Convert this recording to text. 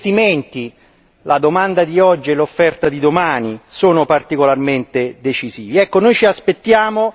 E per questo gli investimenti, la domanda di oggi e l'offerta di domani, sono particolarmente decisivi.